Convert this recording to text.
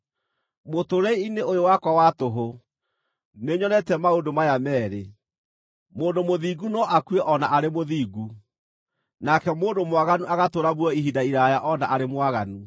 Mũtũũrĩre-inĩ ũyũ wakwa wa tũhũ, nĩnyonete maũndũ maya meerĩ: mũndũ mũthingu no akue o na arĩ mũthingu, nake mũndũ mwaganu agatũũra muoyo ihinda iraaya o na arĩ mwaganu.